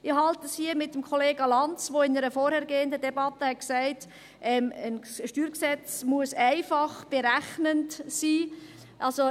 Ich halte es hier mit dem Kollega Lanz, der in einer vorhergehenden Debatte gesagt hat, ein StG müsse einfach berechnend sein.